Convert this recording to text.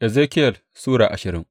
Ezekiyel Sura ashirin